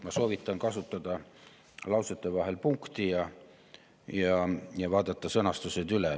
Ma soovitan kasutada lausete vahel punkti ja vaadata sõnastused üle.